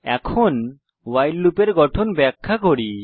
এখন ভাইল লুপের গঠন ব্যাখ্যা করি